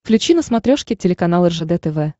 включи на смотрешке телеканал ржд тв